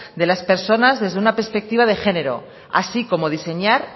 de las personas desde una perspectiva de género así como diseñar